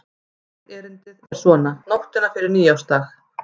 Eitt erindið er svona: Nóttina fyrir nýársdaginn